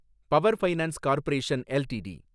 power finance corporation LTD